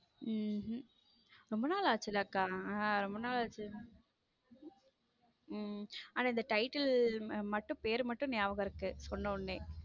உம் ரொம்ப நாள் ஆச்சுல கா ரொம்ப நாள் ஆச்சு அக்கா ஆனா இந்த title மட்டும் பேர் மட்டும் ஞாபகம் இருக்கு சொன்ன உடனே.